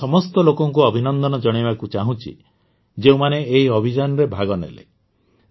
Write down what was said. ମୁଁ ସେହି ସମସ୍ତ ଲୋକଙ୍କୁ ଅଭିନନ୍ଦନ ଜଣାଇବାକୁ ଚାହୁଁଛି ଯେଉଁମାନେ ଏହି ଅଭିଯାନରେ ଭାଗ ନେଲେ